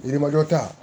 Yirimajɔ ta